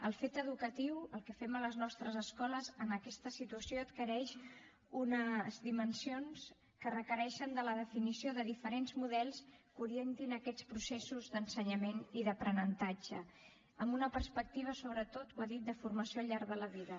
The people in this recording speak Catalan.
el fet educatiu el que fem a les nostres escoles en aquesta situació adquireix unes dimensions que requereixen de la definició de diferents models que orien tin aquests processos d’ensenyament i d’aprenentatge amb una perspectiva sobretot ho ha dit de formació al llarg de la vida